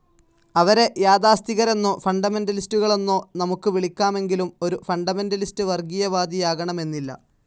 അവരെ യാഥാസ്ഥിതികരെന്നോ ഫണ്ടമെൻ്റലിസ്റ്റ്കളെന്നോ നമുക്ക് വിളിക്കാമെങ്കിലും ഒരു ഫണ്ടമെന്റലിസ്റ്റ്‌ വർഗീയവാദിയാകണമെന്നില്ല.